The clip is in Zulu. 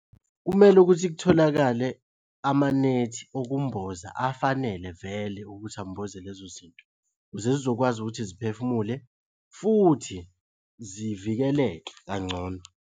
Kumele ukuthi kutholakale amanethi okumboza afanele vele ukuthi amboze lezo zinto, ukuze zizokwazi ukuthi ziphefumule futhi zivikeleke kangcono.